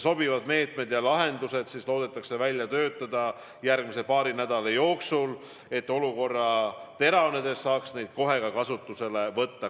Sobivad meetmed ja lahendused loodetakse välja töötada järgmise paari nädala jooksul, et olukorra teravnedes saaks need kohe ka kasutusele võtta.